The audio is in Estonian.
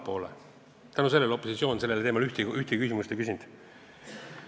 Sel põhjusel opositsioon sellel teemal ühtegi küsimust ei küsinud.